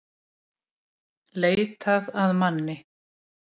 Leitað að manni